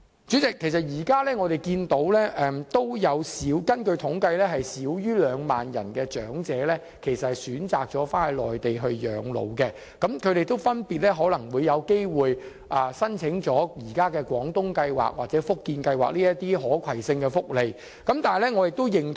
主席，根據統計，現時香港有少於2萬名長者選擇返回內地養老，他們分別會申請現時的"廣東計劃"或"福建計劃"的可攜性福利。